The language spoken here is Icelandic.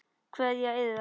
Kveðja Iða.